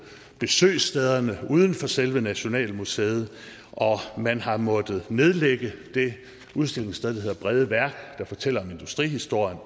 besøgstederne uden for selve nationalmuseet og man har måttet nedlægge det udstillingssted der hedder brede værk der fortæller om industrihistorien